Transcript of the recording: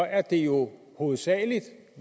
er det jo hovedsagelig